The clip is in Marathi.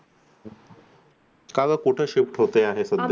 का गं कुठे shift होतेय सद्ध्या